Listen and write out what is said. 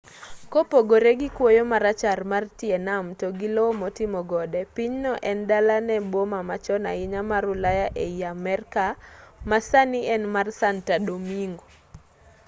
kopogore gi kuoyo marachar mar tie nam to gi lowo motimo gode pinyno en dala ne boma machon ahinya mar ulaya ei amerka ma sani en mar santa domingo